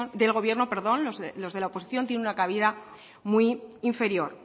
del gobierno los de la oposición tienen una cabida muy inferior